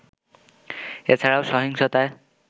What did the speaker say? এছাড়াও সহিংসতায়